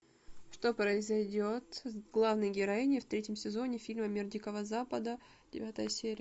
что произойдет с главной героиней в третьем сезоне фильма мир дикого запада девятая серия